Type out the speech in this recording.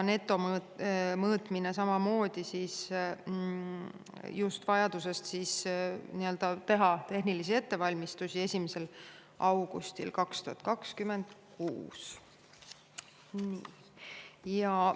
Samamoodi vajadusest teha tehnilisi ettevalmistusi algab netomõõtmine 1. augustil 2026.